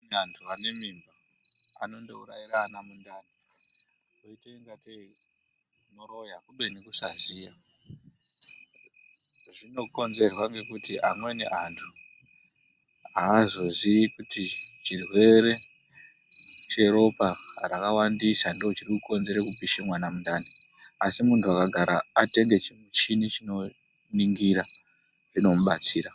Antu anemimba anondourayire ana mundani oita inga tei unoroya kubeni kusaziya zvinokenzerwa ngekuti amweni antu azoziyi kuti chirwere cheropa rakawandisa ndochirikukonzere kupisha mwana mundani ,asi muntu akagara atenge chimuchini chinoningira zvinomubatsira.